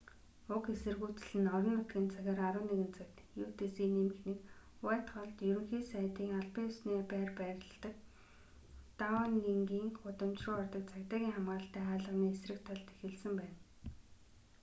уг эсэргүүцэл нь орон нутгийн цагаар 11:00 цагт utc+1 уайтхоллд ерөнхий сайдын албан ёсны байр байдаг даунингийн гудамж руу ордог цагдаагийн хамгаалалттай хаалганы эсрэг талд эхэлсэн байна